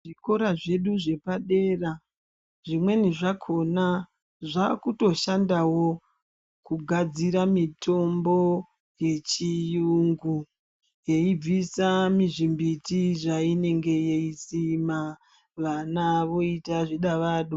Zvikora zvedu zvepadera zvimweni zvakona zvaakutoshandawo kugadzira mitombo yechiyungu beyibvisa muzvimiti zvainenge yeisima, vana voita zvidavado.